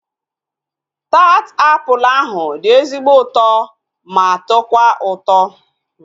Taat apụl ahu dị ezigbo ụtọ ma tọkwa ụtọ